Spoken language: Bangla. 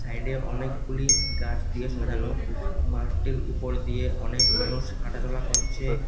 সাইডে অনেকগুলি গাছ দিয়ে সাজানো মাঠটির উপর দিয়ে অনেক মানুষ হাঁটাচলা করছে।